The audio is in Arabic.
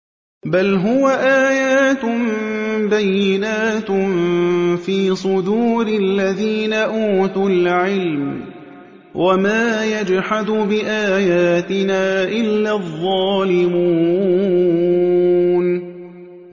بَلْ هُوَ آيَاتٌ بَيِّنَاتٌ فِي صُدُورِ الَّذِينَ أُوتُوا الْعِلْمَ ۚ وَمَا يَجْحَدُ بِآيَاتِنَا إِلَّا الظَّالِمُونَ